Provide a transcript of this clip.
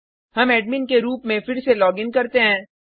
हम एडमिन के रूप में फिर से लॉगिन करते हैं